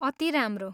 अति राम्रो!